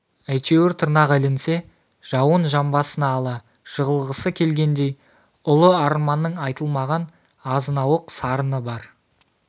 әйтеуір тырнағы ілінсе жауын жамбасына ала жығылғысы келгендей ұлы арманның айтылмаған азынауық сарыны бар